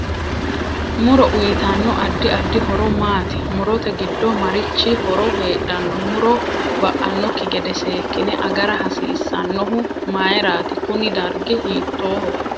Muro uyiitanoti addi addi horo maati murote giddo marichi horo heedhanno muro ba'anokki gede seekine agara hasiisanohu mayiirati kuni dargi hiitooho